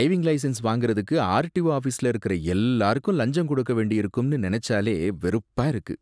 Driving licence வாங்கறதுக்கு RTO ஆஃபீஸ்ல இருக்குற எல்லாருக்கும் லஞ்சம் கொடுக்க வேண்டியிருக்கும்னு நெனச்சாலே வெறுப்பா இருக்கு.